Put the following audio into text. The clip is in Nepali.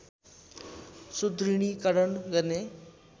सुदृढीकरण गर्ने